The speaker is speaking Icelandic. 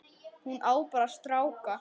Hún á bara stráka.